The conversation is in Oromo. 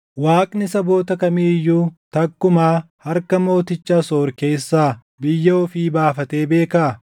Waaqni saboota kamii iyyuu takkumaa harka mooticha Asoor keessaa biyya ofii baafatee beekaa?